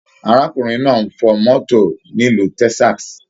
Arákùnrin náà n fọ mọto nilu Texas.